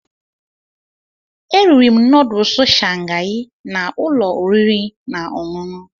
Eriri m nọdụsụ Shangai na ụlọ oriri na ọṅụṅụ.